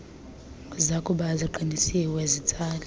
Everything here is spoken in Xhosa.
zakuba ziqinisiwe zitsale